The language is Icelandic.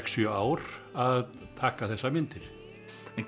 sjö ár að taka þessar myndir